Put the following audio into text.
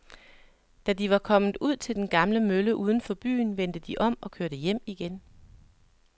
Da de var kommet ud til den gamle mølle uden for byen, vendte de om og kørte hjem igen.